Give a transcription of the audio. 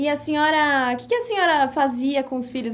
E a senhora, que que a senhora fazia com os filhos?